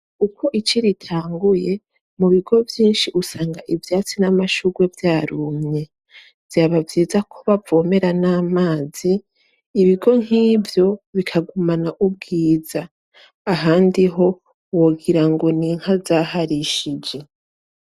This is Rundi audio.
Uko ici ritanguye mubigo vyinshi usanga ivyatsi n'amashurwe vyarumye, vyaba vyiza ko bavomera namazi, ibigo nkivyo bikagumana ubwiza ahandi ho wogirango ninka zaharishije.